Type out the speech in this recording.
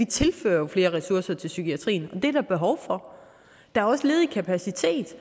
tilfører flere ressourcer til psykiatrien og det er der behov for der er også ledig kapacitet